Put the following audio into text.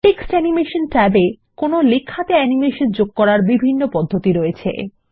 text animation ট্যাবে লেখাকে animation করার বিভিন্ন পদ্ধতি উপলব্ধ আছে